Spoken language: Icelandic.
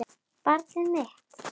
Barn mitt.